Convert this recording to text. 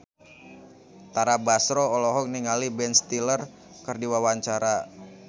Tara Basro olohok ningali Ben Stiller keur diwawancara